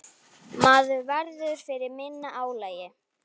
Maður verður fyrir minna álagi.